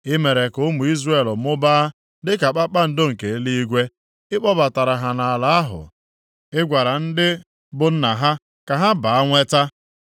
I mere ka ụmụ Izrel mụbaa dịka kpakpando nke eluigwe, ị kpọbatara ha nʼala ahụ i gwara ndị bụ nna ha ka ha baa nweta.